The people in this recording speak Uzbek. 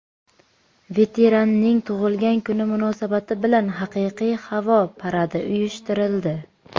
Veteranning tug‘ilgan kuni munosabati bilan haqiqiy havo paradi uyushtirildi.